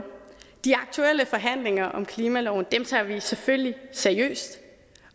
de aktuelle forhandlinger om klimaloven tager vi selvfølgelig seriøst